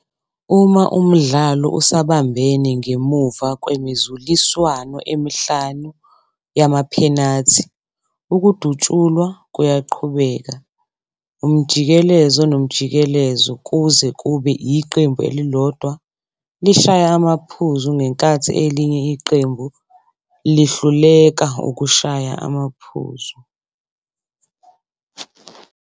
Uma umdlalo usabambene ngemuva kwemizuliswano emihlanu yamaphenathi, ukudutshulwa kuyaqhubeka umjikelezo nomjikelezo, kuze kube iqembu elilodwa lishaya amaphuzu ngenkathi elinye iqembu lihluleka ukushaya amaphuzu.